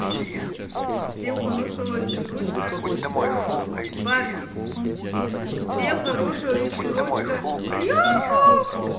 всем хорошего вечерочка парни всем хорошего вечерочка